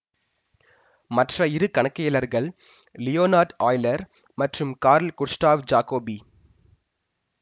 மற்ற இரு கணக்கியலர்கள் லியோனார்டு ஆய்லர் மற்றும் கார்ல் குஸ்டாவ் ஜாகோபி